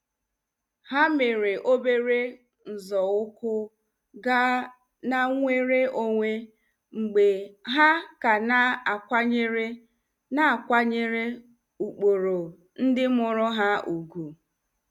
Ha mere obere nzọụkwụ gaa na nnwere onwe mgbe ha ka na-akwanyere na-akwanyere ụkpụrụ ndị mụrụ ha ùgwù.